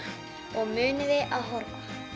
og munið að horfa